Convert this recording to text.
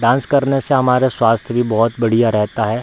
Dance करने से हमारा स्वास्थ्य भी बहुत बढ़िया रहता है।